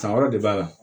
San wɛrɛ de b'a la